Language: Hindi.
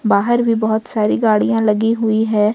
बाहर भी बहुत सारी गाड़ियां लगी हुई है।